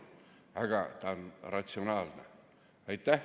Aga see on ratsionaalne.